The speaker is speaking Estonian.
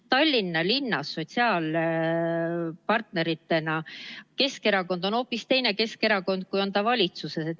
Tallinna linnas on Keskerakond sotsiaalpartnerina hoopis teine Keskerakond, kui on ta valitsuses.